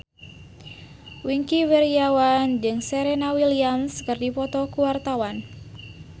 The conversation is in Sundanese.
Wingky Wiryawan jeung Serena Williams keur dipoto ku wartawan